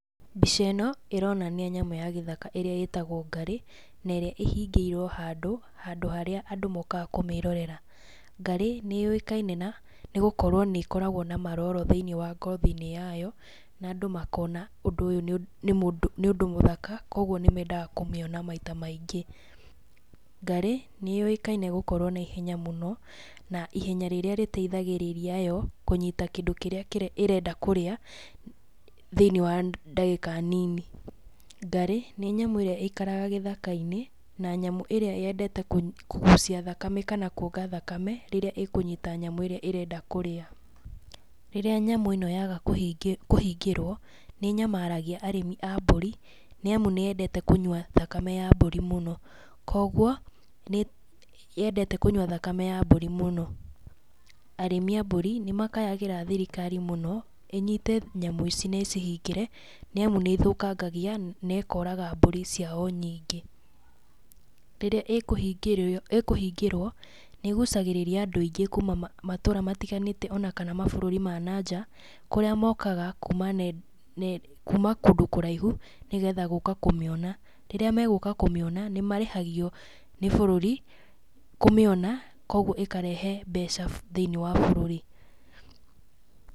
Mbica ĩno, ĩronania nyamũ ya gĩthaka ĩrĩa ĩtagwo ngarĩ, na ĩrĩa ĩhingĩirwo handũ, handũ harĩa andũ mokaga kũmĩrorera. Ngarĩ nĩ yũĩkaina na, nĩ gũkorwo nĩ ĩkoragwo na maroro thĩiniĩ wa ngothi-inĩ yayo, na andũ makona ũndũ ũyũ nĩ ũndũ mũthaka, koguo nĩ mendaga kũmĩona maita maingĩ. Ngarĩ, nĩ yũĩkaine gũkorwo na ihenya mũno, na ihenya rĩrĩa rĩteithagĩrĩria yo, kũnyita kĩndũ kĩrĩa ĩrenda kũrĩa, thĩiniĩ wa ndagĩka nini. Ngarĩ nĩ nyamũ ĩrĩa ĩikaraga gĩthaka-inĩ, na nyamũ ĩrĩa yendete kũgucia thakame kana kuonga thakame, rĩrĩa ĩkũnyita nyamũ ĩrĩa ĩrenda kũrĩa. Rĩrĩa nyamũ ĩno yaga kũhingĩrwo, nĩ ĩnyamaragia arĩmi a mbũri, nĩ amu nĩ yendete kũnyua thakame ya mbũri mũno, koguo, nĩ yendete kũnyua thakame ya mbũri mũno. Arĩmi a mbũri nĩ makayagĩra thirikari mũno, ĩnyite nyamũ ici na ĩcihingĩre, nĩ amu nĩ ĩthũkangagia na ĩkoraga mbũri ciao nyingĩ. Rĩrĩa ĩkũhingĩrwo, nĩ ĩgucagĩrĩra andũ aingĩ kuuma matũra matiganĩte ona kana mabũrũri ma na nja, kũrĩa mokaga kuuma kũndũ kũraihu, nĩgetha gũka kũmĩona, rĩrĩa megũka kũmĩona, nĩ marĩhagio nĩ bũrũri kũmĩona, koguo ĩkarehe mbeca thĩiniĩ wa bũrũri.